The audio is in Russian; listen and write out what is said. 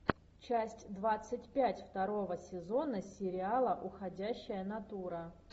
часть двадцать пять второго сезона сериала уходящая натура